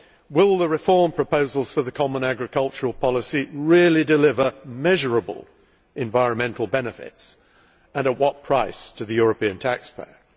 Will the reform proposals for the common agricultural policy really deliver measurable environmental benefits, and at what price to the European taxpayer?